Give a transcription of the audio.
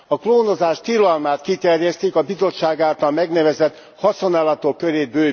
A klónozás tilalmát kiterjesztik, bővítve a Bizottság által megnevezett haszonállatok körét.